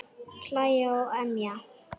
Hlæja og emja.